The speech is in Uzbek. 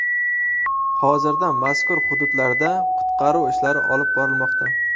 Hozirda mazkur hududlarda qutqaruv ishlari olib borilmoqda.